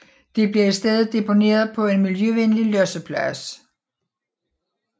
Det bliver i stedet deponeret på en miljøvenlig losseplads